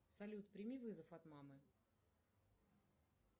салют прими вызов от мамы